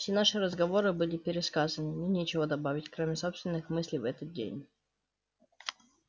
все наши разговоры были пересказаны и мне нечего добавить кроме собственных мыслей в этот день